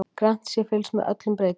Grannt sé fylgst með öllum breytingum